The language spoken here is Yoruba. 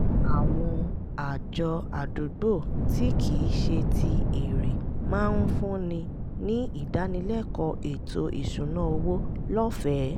àwọn àjọ àdúgbò tí kì í ṣe ti èrè máa ń fúnni ní ìdánilẹ́kọ̀ọ́ ètò ìṣúnná owó lọ́fẹ̀ẹ́